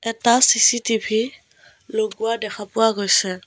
এটা চি_চি_টি_ভি লগোৱা দেখা পোৱা গৈছে।